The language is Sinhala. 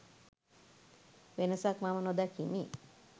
වෙනසක් මම නොදකිමි.